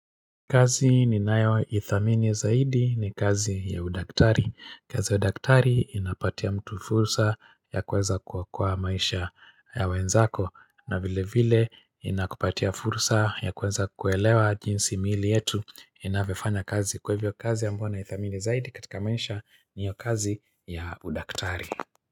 Kazi ninayoithamini zaidi ni kazi ya udaktari. Kazi udaktari inapatia mtu fursa ya kuweza kuokoa maisha ya wenzako na vile vile inakupatia fursa ya kuweza kuelewa jinsi miili yetu inavyofanya kazi kwa hivyo kazi ambayo naithamini zaidi katika maisha ni hiyo kazi ya udaktari.